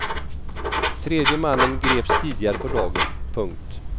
Tredje mannen greps tidigare på dagen. punkt